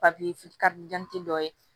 dɔ ye